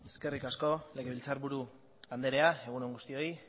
eskerrik asko legebiltzarburu andrea egun on guztioi